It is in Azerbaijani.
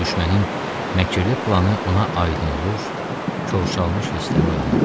Düşmənin məkirli planı ona aydın olur, ovşalmış hissləri oyanırdı.